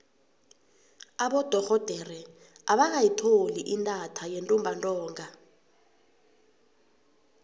abodorhodere abakayitholi intatha yentumbantonga